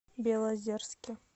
белозерске